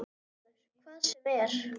LÁRUS: Hvað sem er.